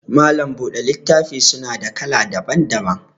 Malam buɗe littafi suna da kala daban daban